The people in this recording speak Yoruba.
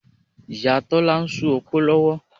Ìyá Tọ́lá ń ṣu opó lọ́wọ́